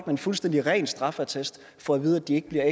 en fuldstændig ren straffeattest få at vide at de ikke bliver